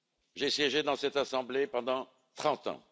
J'ai siégé dans cette assemblée pendant 30 ans.